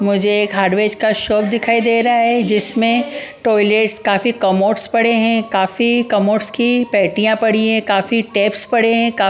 मुझे एक हार्डवेज का शॉप दिखाई दे रहा है जिसमें टॉयलेट्स काफी कमोट्स पड़े हैं काफी कमोट्स की पैटियां पड़ी है काफी टेप्स पड़े हैं काफी--